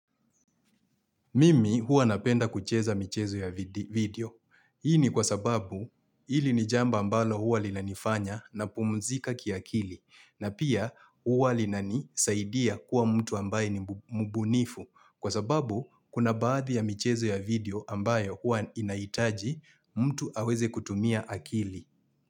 Mimi huwa napenda kucheza michezo ya video. Hii ni kwa sababu ili ni jambo ambalo huwa linanifanya napumuzika kiakili. Na pia huwa linanisaidia kuwa mtu ambaye ni mbunifu. Kwa sababu kuna baadhi ya michezo ya video ambayo huwa inaitaji mtu aweze kutumia akili.